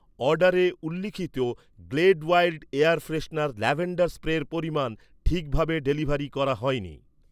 অর্ডারে উল্লিখিত, Glade wild air freshener lavender স্প্রের পরিমাণ, ঠিকভাবে ডেলিভারি করা হয়নি।